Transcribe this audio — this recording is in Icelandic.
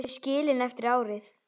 Þau skilin eftir árið.